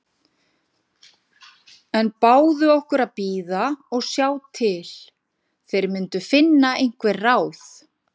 En báðu okkur að bíða og sjá til. þeir myndu finna einhver ráð.